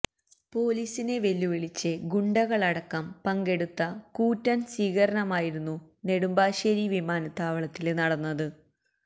പൊലീസിനെ വെല്ലുവിളിച്ച് ഗുണ്ടകളടക്കം പങ്കെടുത്ത കൂറ്റന് സ്വീകരണമായിരുന്നു നെടുമ്പാശ്ശേരി വിമാനത്താവളത്തില് നടന്നത്